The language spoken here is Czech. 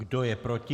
Kdo je proti?